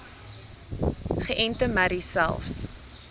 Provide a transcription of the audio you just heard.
geënte merries selfs